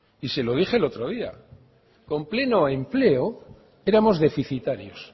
y se lo dije el otro día con pleno empleo éramos deficitarios